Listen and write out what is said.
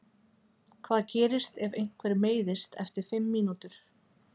Hvað gerist ef einhver meiðist eftir fimm mínútur?